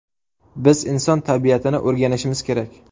Biz inson tabiatini o‘rganishimiz kerak.